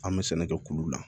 An bɛ sɛnɛ kɛ kulu la